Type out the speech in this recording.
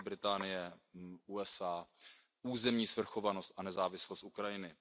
Velké Británie, USA, územní svrchovanost a nezávislost Ukrajiny.